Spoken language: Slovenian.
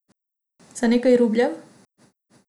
Za nekaj rubljev ...